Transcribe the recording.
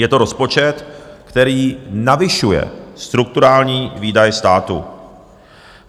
Je to rozpočet, který navyšuje strukturální výdaje státu.